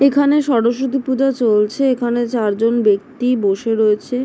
এইখানে সরস্বতী পূজা চলছে। এইখানে চার জন ব্যক্তি বসে রয়েছে ।